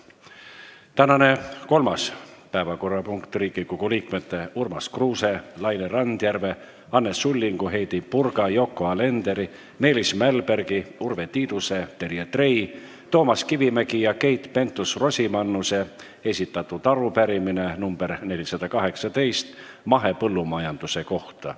Tänane kolmas päevakorrapunkt: Riigikogu liikmete Urmas Kruuse, Laine Randjärve, Anne Sullingu, Heidy Purga, Yoko Alenderi, Meelis Mälbergi, Urve Tiiduse, Terje Trei, Toomas Kivimägi ja Keit Pentus-Rosimannuse esitatud arupärimine nr 418 mahepõllumajanduse kohta.